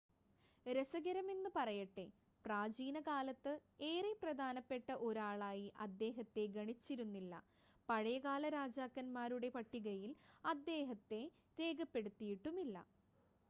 രസകരമെന്ന് പറയട്ടെ പ്രാചീനകാലത്ത് ഏറെ പ്രധാനപ്പെട്ട ഒരാളായി അദ്ദേഹത്തെ ഗണിച്ചിരുന്നില്ല പഴയകാല രാജാക്കൻമാരുടെ പട്ടികയിൽ അദ്ദേഹത്തെ രേഖപ്പെടുത്തിയിട്ടുമില്ല